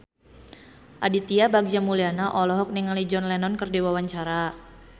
Aditya Bagja Mulyana olohok ningali John Lennon keur diwawancara